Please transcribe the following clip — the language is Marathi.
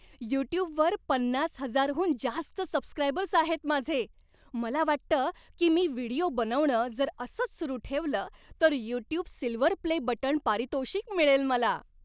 युट्युबवर पन्नास हजार हून जास्त सबस्क्रायबर्स आहेत माझे. मला वाटतं की मी व्हिडिओ बनवणं जर असंच सुरू ठेवलं तर 'यूट्यूब सिल्व्हर प्ले बटण' पारितोषिक मिळेल मला.